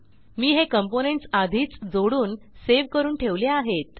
मी हे कॉम्पोनेंट्स आधीच जोडून सेव्ह करून ठेवले आहेत